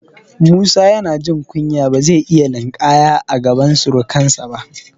Musa yana jin kunya, ba zai iya linƙaya a gaban surukansa ba.